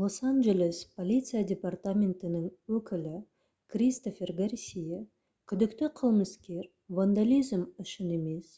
лос-анджелес полиция департаментінің өкілі кристофер гарсия күдікті қылмыскер вандализм үшін емес